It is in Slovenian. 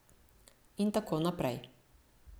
In tako naprej.